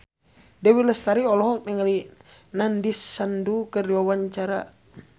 Dewi Lestari olohok ningali Nandish Sandhu keur diwawancara